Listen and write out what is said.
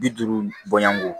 Bi duuru bɔɲɔgɔnko